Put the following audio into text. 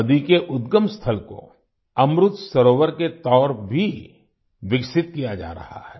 नदी के उद्गम स्थल को अमृत सरोवर के तौर भी विकसित किया जा रहा है